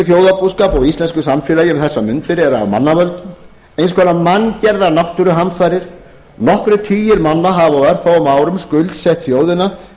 íslenskum þjóðarbúskap og íslensku samfélagi um þessar mundir eru af mannavöldum eins konar manngerðar náttúruhamfarir nokkrir tugir manna hafa á örfáum árum skuldsett þjóðina